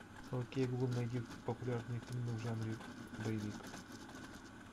окей гугл найди популярные фильмы в жанре боевик